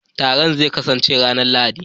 Taron zai kasance ranar Lahadi